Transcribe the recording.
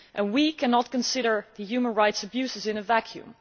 We cannot consider the human rights abuses in a vacuum.